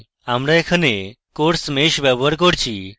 আমরা এখানে coarse mesh ব্যবহার করছি